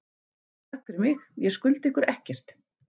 Takk fyrir mig, ég skulda ykkur ekkert.